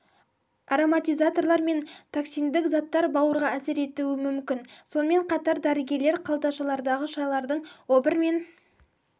ароматизаторлар мен токсиндік заттар бауырға әсер етуі мүмкін сонымен қатар дәрігерлер қалташалардағы шайлардың обыр мен